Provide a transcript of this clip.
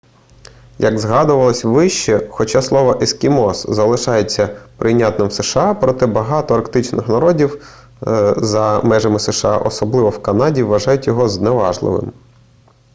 як згадувалося вище хоча слово ескімос залишається прийнятним в сша проте багато арктичних народів за межами сша особливо в канаді вважають його зневажливим